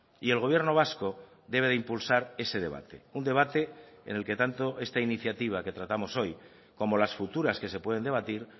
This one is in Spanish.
y el gobierno vasco debe de impulsar ese debate un debate en el que tanto esta iniciativa que tratamos hoy como las futuras que se pueden debatir